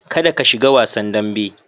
Kada ka shiga wasan dambe.